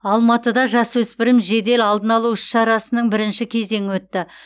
алматыда жасөспірім жедел алдын алу іс шарасының бірінші кезеңі өтті